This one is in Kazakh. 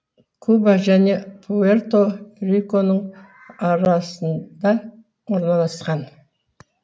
куба және пуэрто риконың арасында орналасқан